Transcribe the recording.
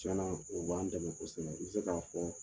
Tiɲɛna o b'an dɛmɛ kosɛbɛ i bɛ se k'a fɔ